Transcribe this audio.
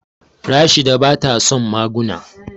Rashida bata son maguna.